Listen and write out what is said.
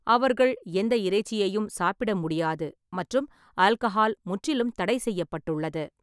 அவர்கள் எந்த இறைச்சியையும் சாப்பிட முடியாது மற்றும் ஆல்கஹால் முற்றிலும் தடை செய்யப்பட்டுள்ளது.